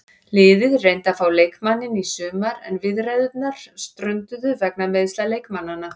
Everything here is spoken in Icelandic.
Liðið reyndi að fá leikmanninn í sumar en viðræðurnar strönduðu vegna meiðsla leikmannanna.